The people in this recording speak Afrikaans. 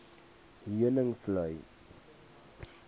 heuningvlei